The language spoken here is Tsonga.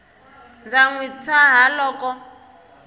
ndza n wi tshaha loko